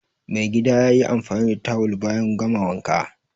Maigida ya yi amfani da tawul bayan gama wanka